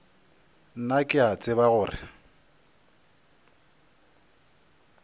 nna ke a tseba gore